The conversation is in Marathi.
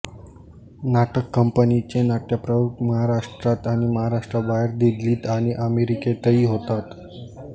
नाटक कंपनीचे नाट्यप्रयोग महाराष्ट्रात आणि महाराष्ट्राबाहेर दिल्लीत आणि अमेरिकेतही होतात